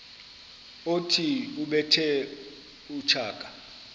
othi ubethe utshaka